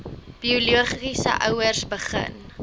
biologiese ouers begin